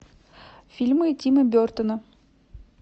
фильмы тима бертона